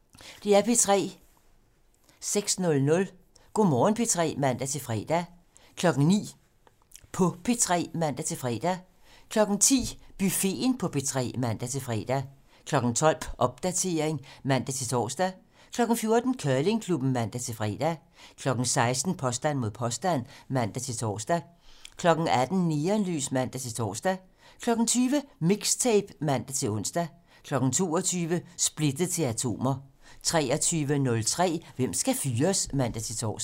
06:00: Go' Morgen P3 (man-fre) 09:00: På P3 (man-fre) 10:00: Buffeten på P3 (man-fre) 12:00: Popdatering (man-tor) 14:00: Curlingklubben (man-fre) 16:00: Påstand mod påstand (man-tor) 18:00: Neonlys (man-tor) 20:00: Mixtape (man-ons) 22:00: Splittet til atomer 23:03: Hvem skal fyres? (man-tor)